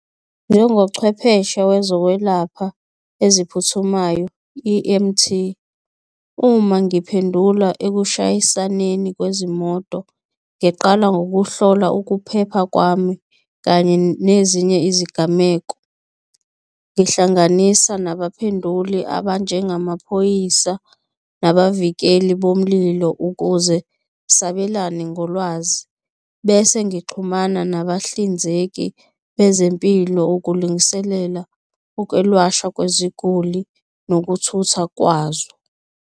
Njengochwepheshe wezokwelapha eziphuthumayo, E_M_T, uma ngiphendula ekushayisaneni kwezimoto, ngiqala ngokuhlola ukuphepha kwami kanye nezinye izigameko. Ngihlanganisa nabaphenduli abanjengamaphoyisa nabavikeli bomlilo ukuze sabelane ngolwazi bese ngixhumana nabahlinzeki bezempilo ukulungiselela ukwelashwa kweziguli nokuthutha kwazo.